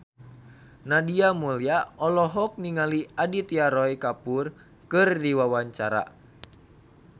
Nadia Mulya olohok ningali Aditya Roy Kapoor keur diwawancara